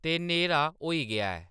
ते न्हेरा होई गेआ ऐ